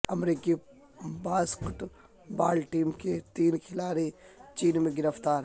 امریکی basketball team کے تین کھلاڑی چین میں گرفتار